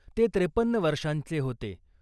ते त्रेपन्न वर्षांचे होते .